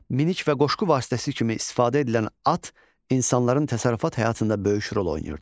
Minik və qoşqu vasitəsi kimi istifadə edilən at insanların təsərrüfat həyatında böyük rol oynayırdı.